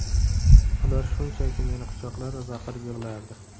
Ular shunchaki meni quchoqlar va baqirib yig‘lardi.